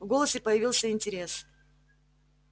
в голосе появился интерес